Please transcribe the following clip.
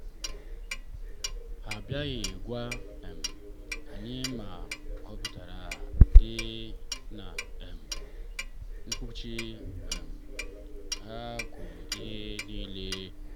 ha abịaghị gwa um anyị ma ịhụnanya dị na um mkpuchi um ha kwuru ihe niile.